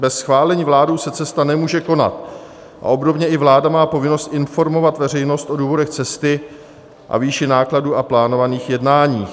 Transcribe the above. Bez schválení vládou se cesta nemůže konat a obdobně i vláda má povinnost informovat veřejnost o důvodech cesty a výši nákladů a plánovaných jednání.